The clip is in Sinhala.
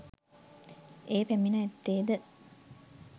ඒ පැමිණ ඇත්තේ ද